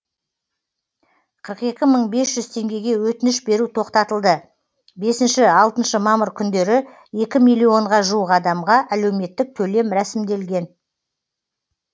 қырық екі мың бес жүз теңгеге өтініш беру тоқтатылды бесінші алтыншы мамыр күндері екі миллионға жуық адамға әлеуметтік төлем рәсімделген